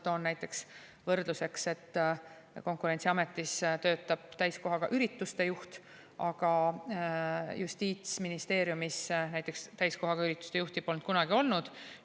Toon võrdluseks, et Konkurentsiametis töötab täiskohaga ürituste juht, aga näiteks justiitsministeeriumis täiskohaga ürituste juhti polnud kunagi olnud.